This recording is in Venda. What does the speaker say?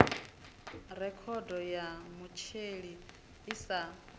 rekhodo ya mutheli i sa